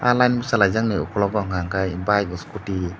layen bosalai jak ni okolog o hingka angkhe bayik askoti.